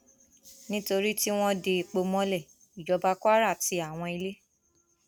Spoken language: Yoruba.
nítorí tí wọn de epo mọlẹ ìjọba kwara ti àwọn ilé